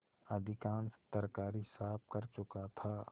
अधिकांश तरकारी साफ कर चुका था